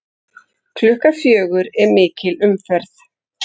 Klukkan fjögur er mikil umferð.